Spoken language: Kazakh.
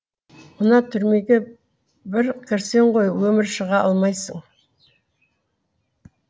мына түрмеге бір кірсең ғой өмірі шыға алмайсың